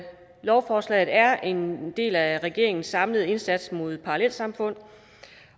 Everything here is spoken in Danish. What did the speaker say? lovforslaget er en del af regeringens samlede indsats mod parallelsamfund